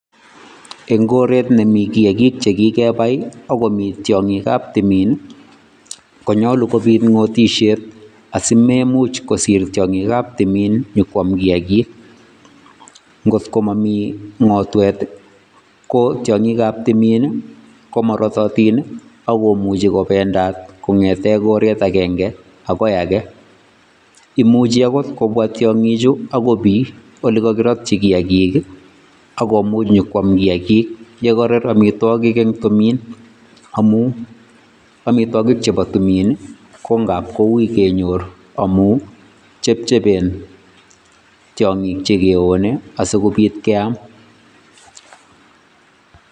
Eng koret nemi kiyakik che kikepai ako tiongikab timin konyolu komi ngotisiet asimemuch kosir tiongikab timin ipkwom kiyakik. Ngotko mami ngotwet ko tiongikab timin komaratatin ako muchi kobendat kongete koret agenge akoi age, imuchi akot kobwa tiongichu akoi biiy ole kakirotchi kiyakik ako much ipkwam kiyakik ye karar amitwokik eng timin amun amitwokik chebo timin kongap koui kenyor amun chepchepen tiongik che keyonei asikopit keam.